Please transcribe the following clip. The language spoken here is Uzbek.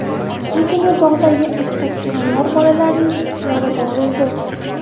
Shu kuni bog‘dagi attraksionlar bolalarning ixtiyorida bo‘ldi.